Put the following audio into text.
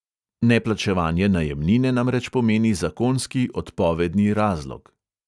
Neplačevanje najemnine namreč pomeni zakonski odpovedni razlog.